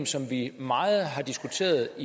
som vi meget har diskuteret og